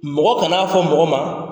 Mɔgɔ kana n'a fɔ mɔgɔ ma,